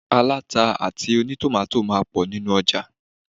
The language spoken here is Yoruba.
Aláta àti ònítòmátò máà ń pọ̀ nínu ọjà.